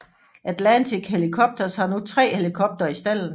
Atlantic Helicopters har nu tre helikoptere i stalden